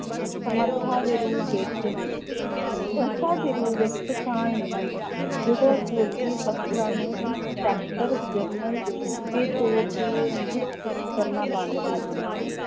ਸਮਰਥਾ ਦੇ ਰੂਪ ਵਿੱਚ ਸੰਸਥਾ ਦੇ ਰੂਪ ਵਿੱਚ ਪਛਾਣ ਮਿਲੀ, ਜਦੋਂ ਫ਼ੌਜ਼ੀ ਅਫ਼ਸਰਾਂ ਨੂੰ inspector general ਦੇ ਤੌਰ ਤੇ ਨਿਯੁਕਤ ਕ~ ਕਰਨਾ ਬੰਦ ਕਰ ਦਿੱਤਾ।